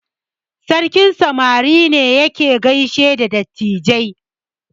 Sarkin samari ne yake gaishe da dattijai.